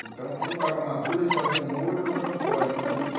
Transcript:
Então, quando estava maduro, eles faziam um molho e ou jogavam fora, eu não sabia.